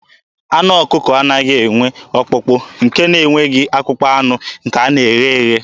Anụ ọkụkọ anaghị enwe ọkpụkpụ, nke na-enweghị akpụkpọ anụ nke a na-eghe eghe.